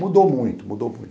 Mudou muito, mudou